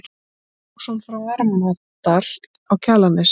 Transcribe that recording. Þorláksson frá Varmadal á Kjalarnesi.